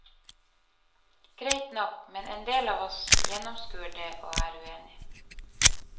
Greit nok, men endel av oss gjennomskuer det og er uenige.